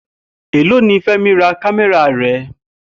Èló ni Fé̩mi ra kámé̩rà rè̩?